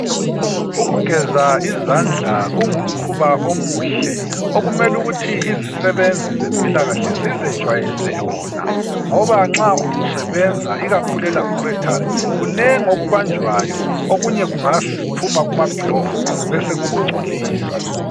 Ukugeza izandla kungumkhuba omuhle okumelukuthi izisebenzi zempilakahle zizejwayeze yona ngoba nxa usebenza ikakhulu elaboratory kunengi okubajwayo okunye kungaphuma kumaglove besokukungcolisa.